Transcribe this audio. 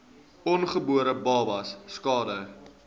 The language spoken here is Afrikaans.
ongebore babas skade